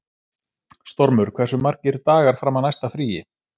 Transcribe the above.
Stormur, hversu margir dagar fram að næsta fríi?